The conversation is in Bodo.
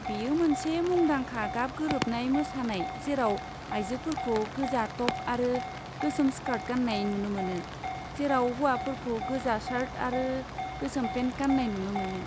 बेयो मोनसे मुंदांखा गाब गोरोबनाय मोसानाय जेराव आयजोफोरखौ गोजा टप आरो गोसोम स्कार्ट गान्नाय नुनो मोनो, जेराव हौवाफोरखौ गोजा सार्ट आरो गोसोम पेन्ट गान्नाय नुनो मोनो।